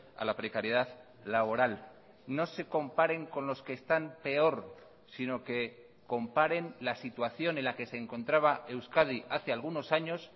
a la precariedad laboral no se comparen con los que están peor sino que comparen la situación en la que se encontraba euskadi hace algunos años